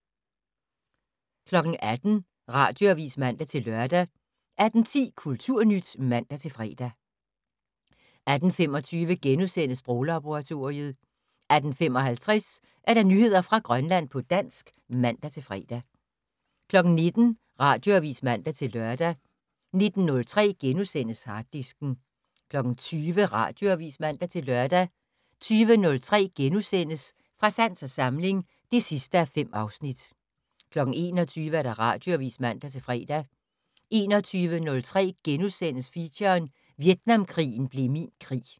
18:00: Radioavis (man-lør) 18:10: Kulturnyt (man-fre) 18:25: Sproglaboratoriet * 18:55: Nyheder fra Grønland på dansk (man-fre) 19:00: Radioavis (man-lør) 19:03: Harddisken * 20:00: Radioavis (man-lør) 20:03: Fra sans og samling (5:5)* 21:00: Radioavis (man-fre) 21:03: Feature: Vietnamkrigen blev min krig *